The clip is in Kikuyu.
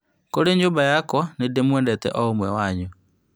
Kũrĩ nyũmba yakwa, nĩndĩmwendete oũmwe wanyu